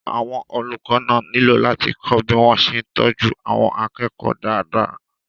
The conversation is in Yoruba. àwọn olùkọ́ náà nílò láti kọ́ bí wọ́n ṣe ń tọ́jú àwọn akẹ́kọ̀ọ́ dáadáa